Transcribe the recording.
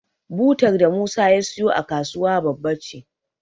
Butar da Musa ya siyo a kasuwa babba ce.